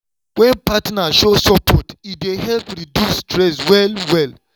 wen partner show support e dey help reduce stress well-well.